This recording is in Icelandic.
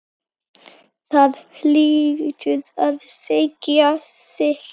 Það hlýtur að segja sitt.